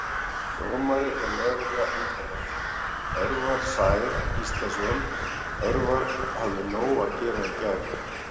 Dómari og lögregla umferðarinnar: Örvar Sær Gíslason Örvar hafði nóg að gera í gær!